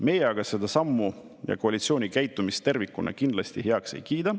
Meie aga seda sammu ja koalitsiooni käitumist tervikuna kindlasti heaks ei kiida.